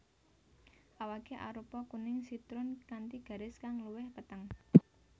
Awaké arupa kuning sitrun kanthi garis kang luwih peteng